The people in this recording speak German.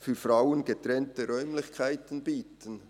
«für Frauen getrennte Räumlichkeiten bieten».